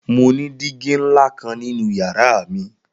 Mo ni digi nla kan ninu yara mi.